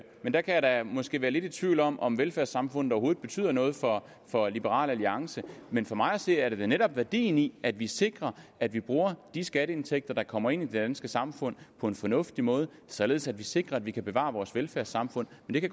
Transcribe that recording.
der kan jeg måske være lidt i tvivl om om velfærdssamfundet overhovedet betyder noget for for liberal alliance men for mig at se er det da netop værdien i at vi sikrer at vi bruger de skatteindtægter der kommer ind i det danske samfund på en fornuftig måde således at vi sikrer at vi kan bevare vores velfærdssamfund men det